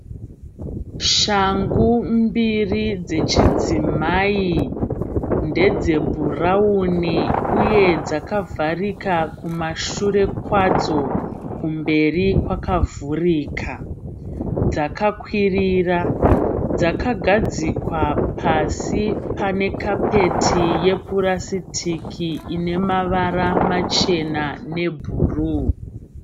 Shangu mbiri dzechi dzimai. Ndedze bhurawuni uye dzakavharika kumashure kwadzo kumberi kwakavhurika. Dzakakwirira, dzakagadzikwa pasi pane kapeti yepurasitiki ine mavara machena ne bhuruu.